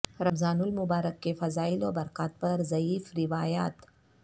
رمضان المبارک کے فضائل و برکات پر ضعیف روایات